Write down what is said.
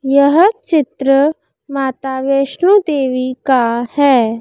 यह चित्र माता वैष्णोव देवी का है।